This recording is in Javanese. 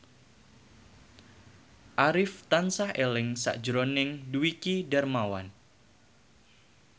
Arif tansah eling sakjroning Dwiki Darmawan